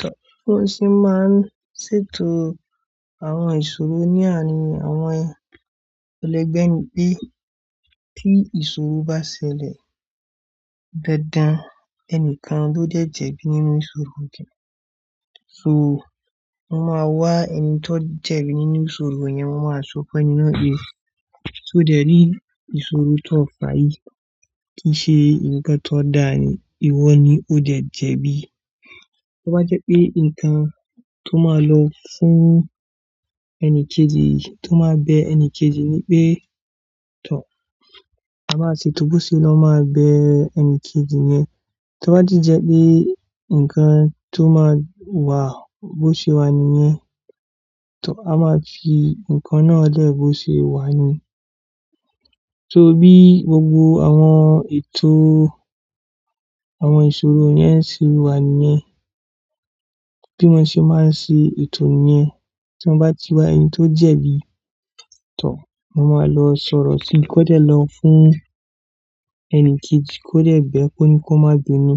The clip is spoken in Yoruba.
Tọ́ ọ̀sí máa ń ṣètò àwọn ìṣòro ní àárín àwọn ẹlẹgbẹ́ ni bí i tí ìṣòro bá ṣẹlẹ̀, dandan ẹnìkan ló dẹ̀ jẹ̀bi nínú ìṣòro kẹ̀. So, wọ́n máa wá ẹni tó jẹ̀bi nínú ìṣòro yẹn, wọ́n máa sọ fun ẹni naa pe. So dẹ̀rí ìṣòro tó payí kìí ṣe ǹkan tó da ni ìwọ ni o de jẹ̀bi. Tọ́ bá jẹ́ pé ǹkan tó máa lọ fún ẹni kejì, tó máa bẹ ẹni kejì ní pé, tọ́ a máa ṣe tó bó ṣe ló máa bẹ ẹni kejì yẹn. Tó bá jẹ́ pé ǹkan tó máa wà, bó ṣe wà níyẹn, tọ́ a máa fi ǹkan náà lẹ̀ bó ṣe wà ní. So bí gbogbo àwọn ètò àwọn ìṣòro yẹn ṣe wà níyẹn, bí wọ́n ṣe máa ń ṣe ètò ni yẹn, tí wọ́n bá ti wá ẹni tó jẹ̀bi, tọ́ wọ́n máa lọ sọ̀rọ̀ sí i kó dẹ̀ lọ fún ẹni kejì kó dẹ̀ bẹ́ ẹ kó ni kó má bi mí.